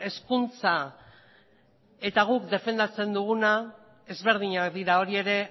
hezkuntza eta guk defendatzen duguna ezberdinak dira hori ere